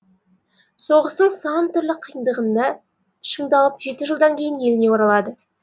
соғыстың сан түрлі қиындығында шыңдалып жеті жылдан кейін еліне оралады